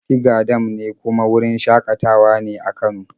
Tiga dam ne kuma wurin shaƙatawa ne a Kano.